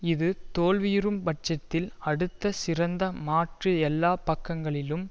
இது தோல்வியுறும் பட்சத்தில் அடுத்த சிறந்த மாற்று எல்லா பக்கங்களிலும்